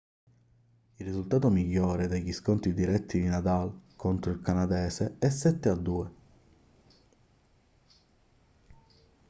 il risultato migliore degli scontri diretti di nadal contro il canadese è 7-2